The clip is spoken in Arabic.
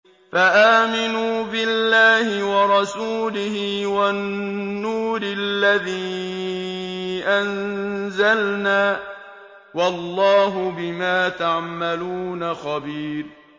فَآمِنُوا بِاللَّهِ وَرَسُولِهِ وَالنُّورِ الَّذِي أَنزَلْنَا ۚ وَاللَّهُ بِمَا تَعْمَلُونَ خَبِيرٌ